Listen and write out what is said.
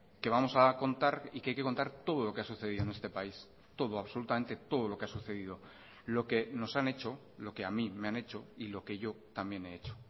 que vamos a contar y que hay que contar todo lo que ha sucedido en este país todo absolutamente todo lo que ha sucedido lo que nos han hecho lo que a mí me han hecho y lo que yo también he hecho